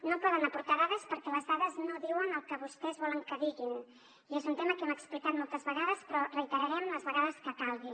no poden aportar dades perquè les dades no diuen el que vostès volen que diguin i és un tema que hem explicat moltes vegades però reiterarem les vegades que calgui